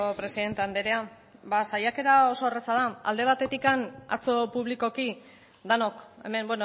presidente andrea ba saiakera oso erraza da alde batetik atzo publikoki denok hemen